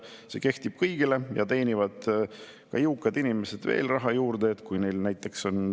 See on selline süsteem, mis oli aktuaalne võib-olla kuskil 1990‑ndate lõpus ja selle sajandi alguses, aga aastal 2023 ei näe see enam hea välja.